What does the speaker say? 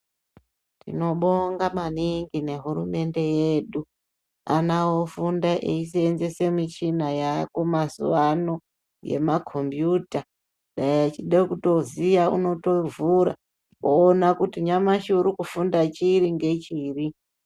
Tinobonga maningi ngehurumende yedu ana vofunda vechisenzese michina yavako mazuva ano yemakombiyuta. Dai achide kutoziya anotovhura voona kuti nyamashi uri kufunda chiri nechiri.